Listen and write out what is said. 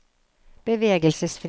bevegelsesfrihet